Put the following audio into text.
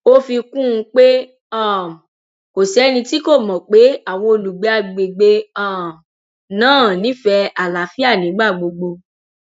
ó fi kún un pé um kò sẹni tí kò mọ pé àwọn olùgbé àgbègbè um náà nífẹẹ àlàáfíà nígbà gbogbo